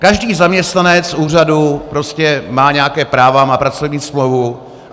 Každý zaměstnanec úřadu prostě má nějaká práva, má pracovní smlouvu.